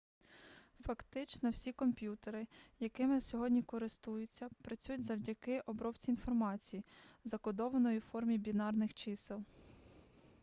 фактично всі комп'ютери якими сьогодні користуються працюють завдяки обробці інформації закодованої у формі бінарних чисел